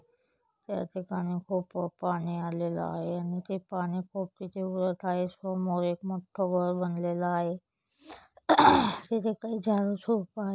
याठिकाणी खूप पाणी आलेले आहे आणि ते पानी वर खाली समोर एक मोठं घर बनलेला आहे तेथे काही झाडं झुडपं आहे.